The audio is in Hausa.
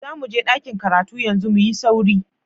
Zamuje ɗakin karatu yanzu, muyi sauri.